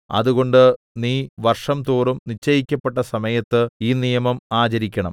അതുകൊണ്ട് നീ വർഷംതോറും നിശ്ചയിക്കപ്പെട്ട സമയത്ത് ഈ നിയമം ആചരിക്കണം